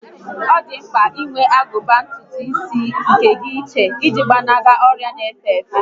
Ọ dị mpka inwe agụba ntùtù isi nke gị iche iji gbanarị ọrịa n'efe efe